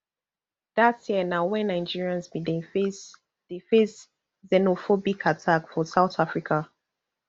dat year na wen nigerians bin dey face dey face xenophobic attack for south africa